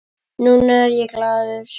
Núna er ég glaður.